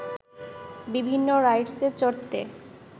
বিভিন্ন রাইডসে চড়তে